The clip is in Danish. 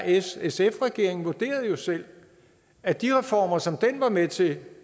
s r sf regeringen vurderede jo selv at de reformer som den var med til